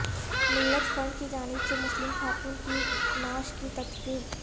ملت فنڈ کی جانب سے مسلم خاتون کی نعش کی تدفین